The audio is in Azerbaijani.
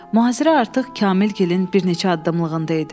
Mühasirə artıq Kamilgilin bir neçə addımlığında idi.